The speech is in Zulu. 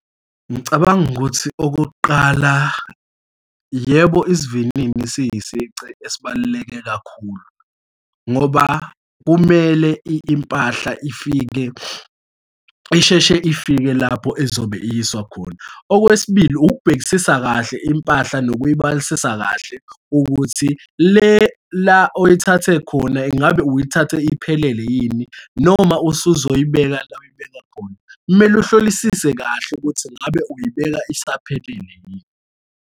Ngicabanga ukuthi okokuqala, yebo, isivinini siyisici esibaluleke kakhulu, ngoba kumele impahla ifike, isheshe ifike lapho ezobe iyiswa khona. Okwesibili, ukubhekisisa kahle impahla nokuyibalisisa kahle ukuthi le la oyithathe khona, ingabe uyithathe iphelele yini, noma usuzoyibeka la uyibeka khona, kumele uhlolisise kahle ukuthi ngabe uyibeka isaphelele yini.